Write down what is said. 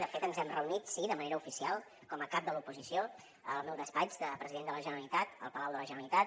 de fet ens hem reunit sí de manera oficial com a cap de l’oposició al meu despatx de president de la generalitat al palau de la generalitat